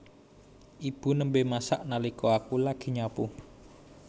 Ibu nembe masak nalika aku lagi nyapu